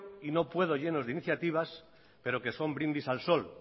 y no puedo lleno de iniciativas pero que son brindis al sol